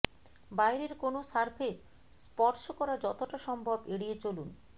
বাইরের কোনও সারফেস স্পর্শ করা যতটা সম্ভব এড়িয়ে চলুন